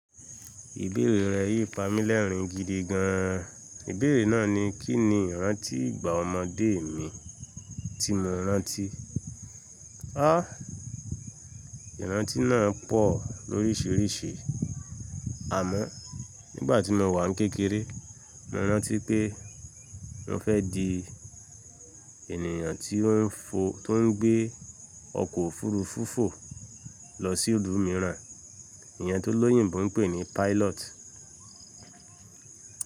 Ìbéèrè rẹ̀ yìí pamí lẹ́rìn gidi gan. Ìbéèrè náà ni, kín ni ìrántí ìgbà ọmọdé mi tí mo rántí? Háà! Ìrántí náà pọ̀ lóríṣiríṣi. Àmọ́ nígbà tí mo wà ní kékeré, mo rántí pé mo fẹ́ di ènìyàn tó ń fo, tó ń gbé ọkọ̀ òfuurufú fò lọ sí ìlú mìíràn. Èèyàn t'ólóyìnbo ń pè ní pilot.